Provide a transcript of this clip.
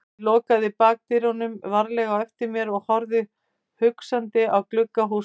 Ég lokaði bakdyrunum varlega á eftir mér og horfði hugsandi á glugga hússins.